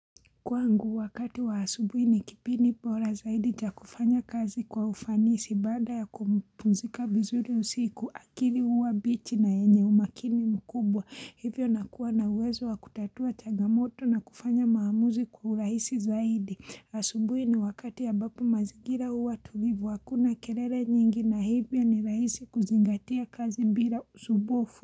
Kwangu wakati wa asubuhi ni kipindi bora zaidi cha kufanya kazi kwa ufanisi baada ya kupumzika vizuri usiku akili huwa mbichi na yenye umakini mkubwa hivyo nakuwa na uwezo wa kutatua changamoto na kufanya maamuzi kwa urahisi zaidi asubuhi ni wakati ambapo mazigira huwa tulivu hakuna kelele nyingi na hivyo ni rahisi kuzingatia kazi bila usumbufu.